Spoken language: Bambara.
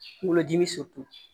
Kungolo dimi